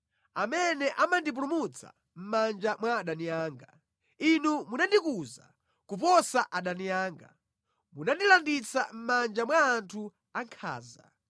amene amandipulumutsa mʼmanja mwa adani anga. Inu munandikuza kuposa adani anga; munandilanditsa mʼmanja mwa anthu ankhanza.